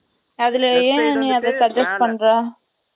அதுல, ஏன் நீ அதை suggest பண்ற